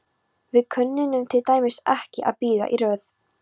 Við kunnum til dæmis ekki að bíða í röð.